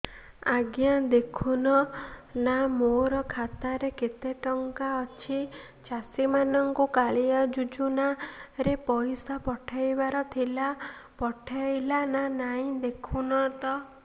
ଆଜ୍ଞା ଦେଖୁନ ନା ମୋର ଖାତାରେ କେତେ ଟଙ୍କା ଅଛି ଚାଷୀ ମାନଙ୍କୁ କାଳିଆ ଯୁଜୁନା ରେ ପଇସା ପଠେଇବାର ଥିଲା ପଠେଇଲା ନା ନାଇଁ ଦେଖୁନ ତ